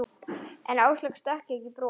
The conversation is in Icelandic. En Áslaugu stökk ekki bros.